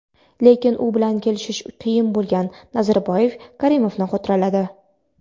lekin u bilan kelishish qiyin bo‘lgan — Nazarboyev Karimovni xotirladi.